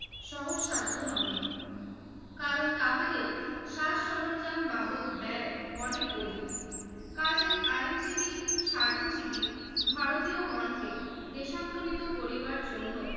সহসাধ্য নহে। কারণ তাহাদের সাজ সরঞ্জাম বাবদ ব্যয় অনেক অধিক। কাজেই আইনজীবী স্বাধীনজীবী ভারতীয়গণকে দেশান্তরিত করিবার জন্য